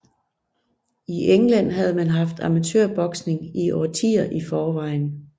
I England havde man haft amatørboksning i årtier i forvejen